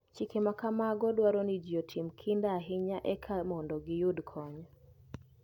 Chike ma kamago dwaro ni ji otim kinda ahinya eka mondo giyudkony.